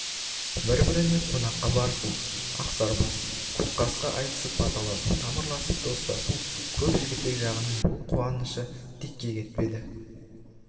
бір-біріне қонаққа барысу ақсарбас көкқасқа айтысып баталасу тамырласып достасу көп жігітек жағының бұл қуанышы текке кетпеді